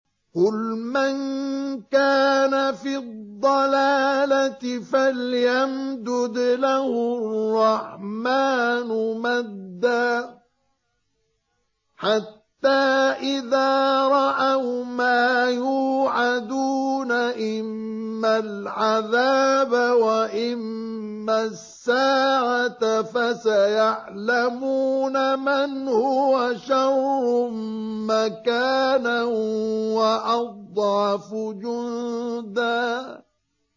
قُلْ مَن كَانَ فِي الضَّلَالَةِ فَلْيَمْدُدْ لَهُ الرَّحْمَٰنُ مَدًّا ۚ حَتَّىٰ إِذَا رَأَوْا مَا يُوعَدُونَ إِمَّا الْعَذَابَ وَإِمَّا السَّاعَةَ فَسَيَعْلَمُونَ مَنْ هُوَ شَرٌّ مَّكَانًا وَأَضْعَفُ جُندًا